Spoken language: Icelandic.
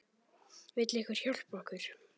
Vill einhver hjálpa okkur?